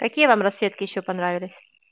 какие вам расцветки ещё понравились